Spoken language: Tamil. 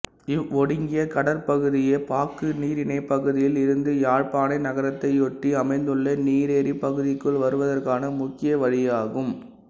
இவ்வொடுங்கிய கடற்பகுதியே பாக்கு நீரிணைப் பகுதியில் இருந்து யாழ்ப்பாண நகரத்தையொட்டி அமைந்துள்ள நீரேரிப் பகுதிக்குள் வருவதற்கான முக்கிய வழியாகும்